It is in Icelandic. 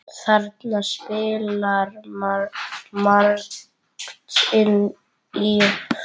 Þarna spilar margt inn í.